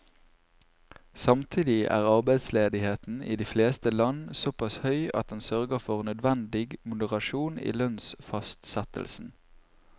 Samtidig er arbeidsledigheten i de fleste land såpass høy at den sørger for nødvendig moderasjon i lønnsfastsettelsen.